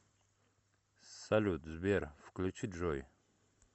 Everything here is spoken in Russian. салют сбер включи джой